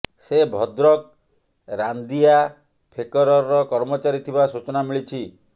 ସେ ଭଦ୍ରକ ରାନ୍ଦିଆ ଫେକରର କର୍ମଚାରୀ ଥିବା ସୁଚନା ମିଳିଛି